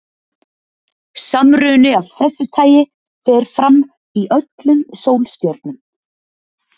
Samruni af þessu tagi fer fram í öllum sólstjörnum.